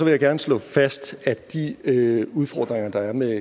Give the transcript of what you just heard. jeg gerne slå fast at de udfordringer der er med